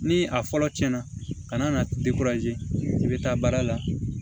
Ni a fɔlɔ tiɲɛna na i bɛ taa baara la